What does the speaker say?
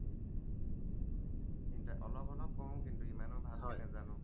অলপ অলপ কৰোঁ কিন্তু ইমানো ভালকে নাজানো